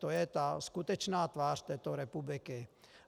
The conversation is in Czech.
To je ta skutečná tvář této republiky.